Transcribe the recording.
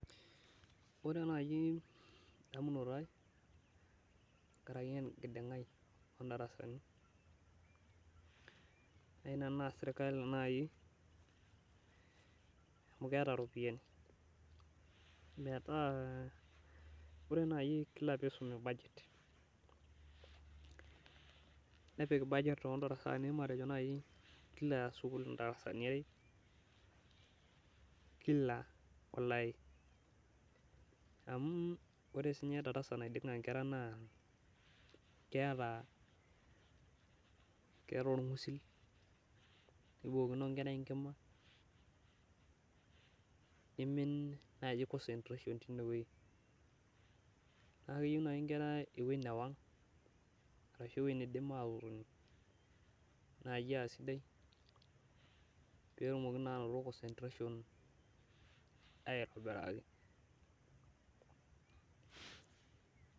Ore naai endamunoto ai tenkaraki enkiding'ai oo ndarasani ayie nanu naarr sirkali naai amu keeta irpoyiani metaa ore naai kila piisumi budget nepik budget oo ndarasani matejo naai kila sukuul ndarasani are kila olari. Amu ore siininye darasa naiding'a inkera naa keeta, keeta orng'usil nibookino inkera enkima, nimin naaji concentration tenewuei. Naa keyieu naai inkera ewuei newang arashu ewuei niidim aatotoni naai aa sidai peetumoki naa anoto concentration aitobiraki